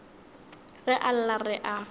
ge a lla re a